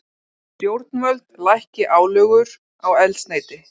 Stjórnvöld lækki álögur á eldsneyti